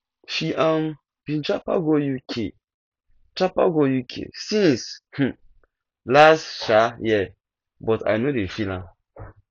she um been japa go uk japa go uk since um last um year but i no dey feel am